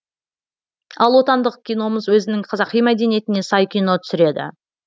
ал отандық киномыз өзінің қазақи мәдениетіне сай кино түсіреді